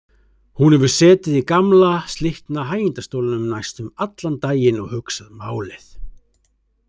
Hún hefur setið í gamla, slitna hægindastólnum næstum allan daginn og hugsað málið.